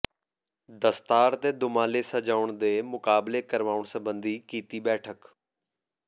ਦਸਤਾਰ ਤੇ ਦੁਮਾਲੇ ਸਜਾਉਣ ਦੇ ਮੁਕਾਬਲੇ ਕਰਵਾਉਣ ਸਬੰਧੀ ਕੀਤੀ ਬੈਠਕ